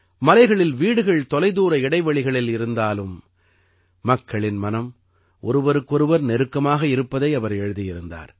மலைகளில் வீடுகள் தொலைதூர இடைவெளிகளில் இருந்தாலும் மக்களின் மனம் ஒருவருக்கு ஒருவர் நெருக்கமாக இருப்பதாக அவர் எழுதியிருந்தார்